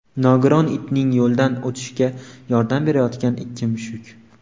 Nogiron itning yo‘ldan o‘tishiga yordam berayotgan ikki mushuk.